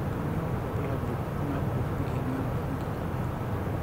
Kainyio irbulabul onaapuku eng'ion enkijiape?